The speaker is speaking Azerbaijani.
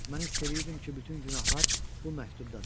Mən hiss eləyirdim ki, bütün günahlar bu məktubdadır.